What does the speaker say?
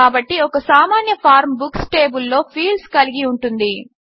కాబట్టి ఒక సామాన్య ఫార్మ్ బుక్స్ టేబిల్లో ఫీల్డ్స్ కలిగి ఉంటుంది